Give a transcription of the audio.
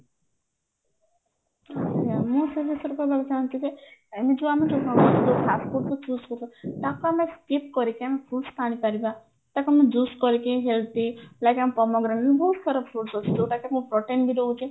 ହଁ ମୁଁ ସେଇ ବିଷୟରେ କହିବାକୁ ଚାହୁଁଛି ଯେ ଏମିତି ଯୋଉ ଆମେ fast food କୁ choose ତାକୁ ଆମେ skip କରିକି ଆମେ fruits ଆଣିପାରିବା ତାକୁ ଆମେ juice କରିକି healthy ବହୁତ ସାରା fruits ଅଛି ଯୋଉଟା କି ଆମ protein ବି ଦଉଛି